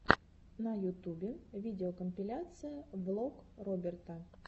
на ютубе видеокомпиляция влог роберта